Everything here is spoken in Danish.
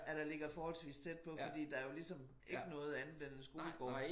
At der ligger forholdvis tæt på fordi der jo ligesom ikke noget andet end skolegården